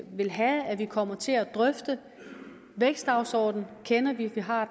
vil have at vi kommer til at drøfte vækstdagsordenen kender vi vi har